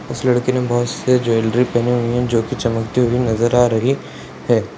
इस लड़की ने बहुत से ज्वेलरी पहने हुए हैं जो चमकते हुए नजर आ रही है।